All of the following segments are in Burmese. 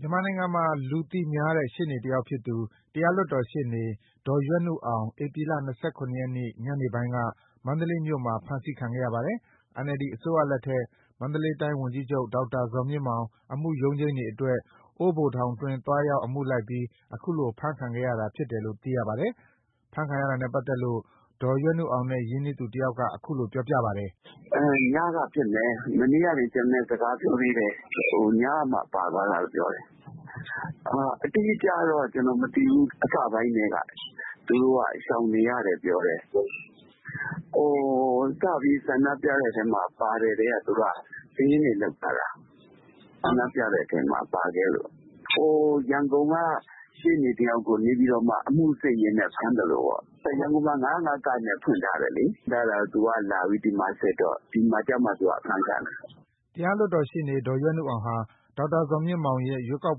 မြန်မာနိုင်ငံမှာ လူသိများတဲ့ ရှေ့နေတယောက်ဖြစ်သူ တရားလွှတ်တော်ရှေ့နေ ဒေါ်ရွက်နုအောင် ဧပြီ ၂၇ ရက်နေ့ ညနေပိုင်းက မန္တလေးမြို့မှာ ဖမ်းဆီးခံခဲ့ရပါတယ်။ NLD အစိုးရလက်ထက် မန္တလေးတိုင်းဝန်ကြီးချုပ် ဒေါက်တာဇော်မြင့်မောင် အမှုရုံးချိန်းတွေအတွက် အိုးဘိုထောင်တွင်း သွားရောက် အမှုလိုက်ပြီး ခုလိုဖမ်းခံခဲ့ရတာဖြစ်တယ်လို့သိရပါတယ်။ အဖမ်းခံရတာနဲ့ပတ်သက်လို့ ဒေါ်ရွက်နုအောင်နဲ့ ရင်းနှီးသူ တယောက်က ခုလိုပြောပြပါတယ်။ “ညကဖြစ်မယ်။ မနေ့က ကျနော်နဲ့စကားပြောသေးတယ်။ ညက ပါသွားတာလို့ပြောတယ်။ အတိအကျတော့မသိဘူး။ အစပိုင်းကတည်းက သူက ရှောင်နေရတယ်ပြောတယ်။ စပြီး ဆန္ဒပြတာမှာပါတဲ့နေ့ကတည်းက သူတို့က စာရင်းတွေလုပ်ထားတာ။ ဆန္ဒပြတဲ့ထဲပါခဲ့လို့ ရန်ကုန်ကရှေ့နေတယောက်ကို နေပြည်တော်မှာ အမှုစစ်ရင်းဖမ်းသလိုပေါ့။” တရားလွှတ်တော်ရှေ့နေ ဒေါ်ရွက်နုအောင်ဟာ ဒေါက်တာဇော်မြင့်မောင်အပေါ် ရွေးကောက်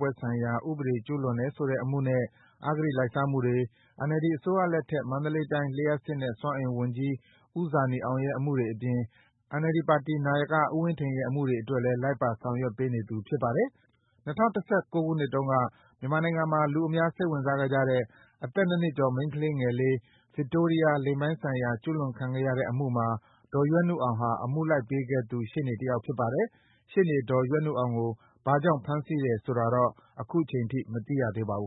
ပွဲဆိုင်ရာဥပဒေ ကျူးလွန်တယ်ဆိုတဲ့ အမှုနဲ့ အဂတိလိုက်စားမှုတွေ၊ NLD အစိုးရလက် ထက် မန္တလေးတိုင်း လျှပ်စစ်နဲ့ စွမ်းအင်ဝန်ကြီး ဦးဇာနည်အောင်ရဲ့ အမှုတွေအပြင် NLD ပါတီ နာယက ဦးဝင်းထိန်ရဲ့ အမှုတွေအတွက်လည်း လိုက်ပါဆောင်ရွက်ပေးနေသူ ဖြစ်ပါတယ်။ ၂၀၁၉ ခုနှစ်တုန်းက မြန်မာနိုင်ငံမှာ အများစိတ်ဝင်စားခဲ့ကြတဲ့ အသက် ၂ နှစ်ကျော် မိန်းကလေးငယ်လေး ဗစ်တိုးရီးယား လိင်ပိုင်းဆိုင်ရာ ကျူးလွန်ခံရတဲ့အမှုမှာ ဒေါ်ရွက်နုအောင်ဟာ အမှုလိုက်ပေးခဲ့သူ ရှေ့နေတယောက်ဖြစ်ပါတယ်။ ရှေ့နေဒေါ်ရွက်နုအောင်ကို ဘာကြောင့် ဖမ်းဆီးတယ်ဆိုတာတော့ ခုချိန်ထိ အတိအကျ မသိရသေးပါဘူး။